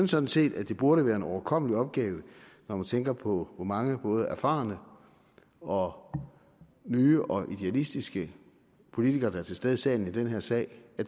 sådan set at det burde være en overkommelig opgave når man tænker på hvor mange både erfarne og nye og idealistiske politikere der er til stede i salen i den her sag at